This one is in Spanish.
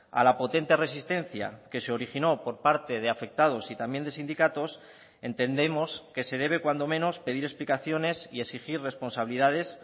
a la potente resistencia que se originó por parte de afectados y también de sindicatos entendemos que se debe cuando menos pedir explicaciones y exigir responsabilidades